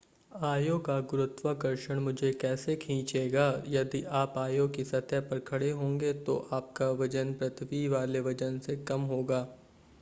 आयो का गुरुत्वाकर्षण मुझे कैसे खींचेगा यदि आप आयो की सतह पर खड़े होंगे तो आपका वजन पृथ्वी वाले वजन से कम होगा